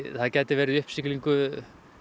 það gæti verið í uppsiglingu